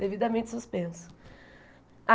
Devidamente suspenso.